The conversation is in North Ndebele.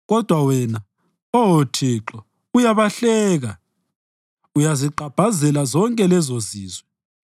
Kodwa wena, Oh Thixo, uyabahleka; uyazigqabhazela zonke lezozizwe.